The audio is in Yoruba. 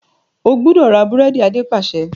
O gbúdọ̀ ra búrẹ́dì! Adé pàṣẹ.